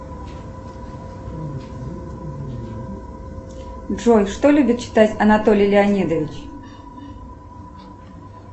джой что любит читать анатолий леонидович